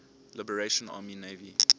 liberation army navy